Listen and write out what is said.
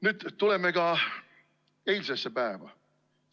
Nüüd tuleme ka eilsesse päeva.